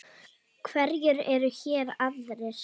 Hverjir eru hér aðrir?